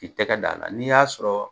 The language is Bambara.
K'i tɛgɛ d'a la, n'i y'a sɔrɔ,